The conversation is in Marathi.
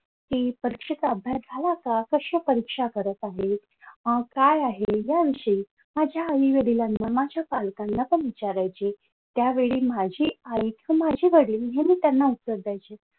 कि परीक्षेचा अभ्यास झाला का कश्या परीक्षा करत आहेत त्याविषयी काय आहे माझ्या आईवडिलांना माझ्या पालकांना का विचारायची त्यावेळी माझी आई तर माझे वडील हे मी त्यांना उत्तर द्यायचे.